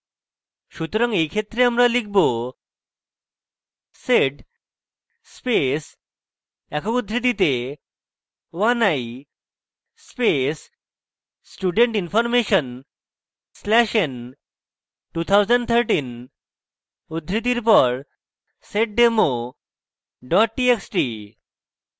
সুতরাং এই ক্ষেত্রে আমরা লিখব: